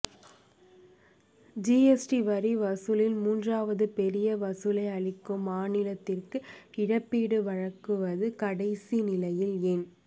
G S T வரி வசூலில் மூன்றாவது பெரிய வசூலை அளிக்கும் மாநிலத்திற்கு இழப்பீடு வழங்குவது கடைசி நிலையில் ஏன்